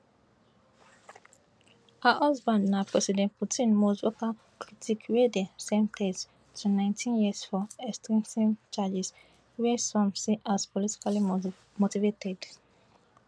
her husband na president putin most vocal critic wey dem sen ten ce to nineteen years for extremism charges wey some see as politically motivated